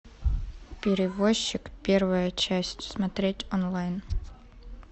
перевозчик первая часть смотреть онлайн